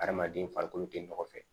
Adamaden farikolo tɛ nɔgɔ fɛ